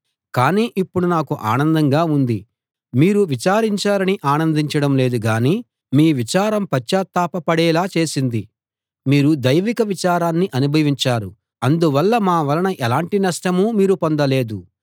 కాని ఇప్పుడు నాకు ఆనందంగా ఉంది మీరు విచారించారని ఆనందించడం లేదు గానీ మీ విచారం పశ్చాత్తాపపడేలా చేసింది మీరు దైవిక విచారాన్ని అనుభవించారు అందువల్ల మా వలన ఎలాంటి నష్టమూ మీరు పొందలేదు